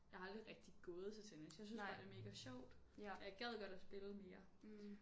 Jeg har aldrig rigtig gået til tennis jeg synes bare det er mega sjovt og jeg gad godt at spille mere